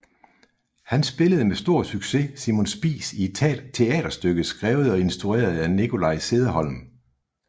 Han spillede med stor succes Simon Spies i et teaterstykke skrevet og instrueret af Nikolaj Cederholm